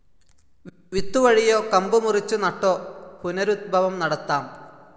വിത്തുവഴിയോ കമ്പുമുറിച്ചുനട്ടോ പുനരുത്ഭവം നടത്താം.